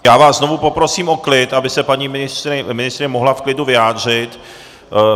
Já vás znovu poprosím o klid, aby se paní ministryně mohla v klidu vyjádřit.